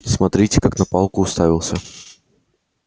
смотрите как на палку уставился